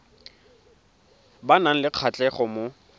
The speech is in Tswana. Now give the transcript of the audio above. ba nang le kgatlhego mo